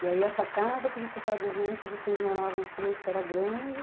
E aí essa casa que você está dizendo que vocês moravam os três, que era grande?